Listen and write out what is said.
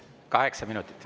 Kaheksa minutit.